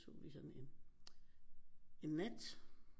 Tog vi sådan en en nat